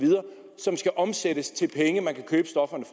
som skal omsættes til penge man kan købe stofferne